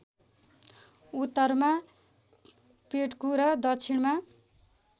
उत्तरमा पेड्कु र दक्षिणमा